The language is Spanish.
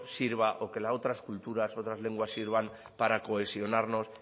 sirva o que las otras culturas otras lenguas sirvan para cohesionarnos